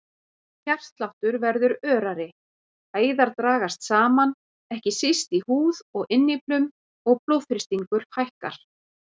Hjartsláttur verður örari, æðar dragast saman, ekki síst í húð og innyflum og blóðþrýstingur hækkar.